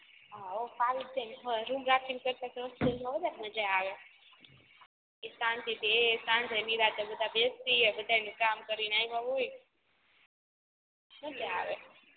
હા હો ફાવી જ જાય ને રૂમ રાખ્યા કરતાં તો હોસ્ટેલ માં વધારે મજા આવે શાંતિ થી એ સાંજે નિરાંતે બધા બેસીએ બધાય કામ કરીને આવ્યા હોય મજા આવે